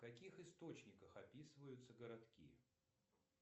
в каких источниках описываются городки